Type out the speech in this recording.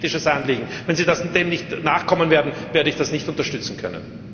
Das ist mein ethisches Anliegen. Wenn Sie dem nicht nachkommen, werde ich das nicht unterstützen können!